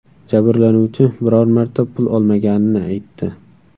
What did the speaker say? Jabrlanuvchi biror marta pul olmaganini aytdi.